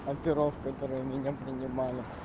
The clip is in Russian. оперов которая меня принимала